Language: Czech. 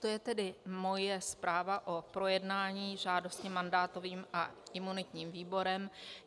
To je tedy moje zpráva o projednání žádosti mandátovým a imunitním výborem.